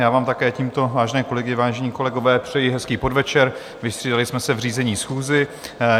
Já vám také tímto, vážené kolegyně, vážení kolegové, přeji hezký podvečer, vystřídali jsme se v řízení schůze.